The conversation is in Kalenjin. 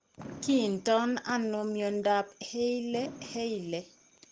Kiinton ano mnyandop Hailey Hailey?